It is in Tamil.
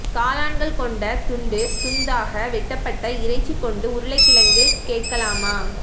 காளான்கள் கொண்ட துண்டு துண்தாக வெட்டப்பட்ட இறைச்சி கொண்டு உருளைக்கிழங்கு கேட்கலாமா